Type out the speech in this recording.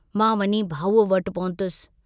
मां वञी भाऊअ वटि पहुतुस।